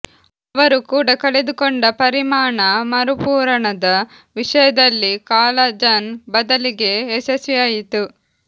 ಅವರು ಕೂಡ ಕಳೆದುಕೊಂಡ ಪರಿಮಾಣ ಮರುಪೂರಣದ ವಿಷಯದಲ್ಲಿ ಕಾಲಜನ್ ಬದಲಿಗೆ ಯಶಸ್ವಿಯಾಯಿತು